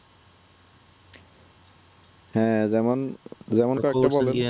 হ্যাঁ যেমন